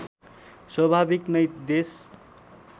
स्वाभाविक नै देश